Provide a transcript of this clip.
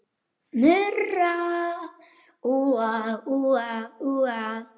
Murra úa, úa, úa.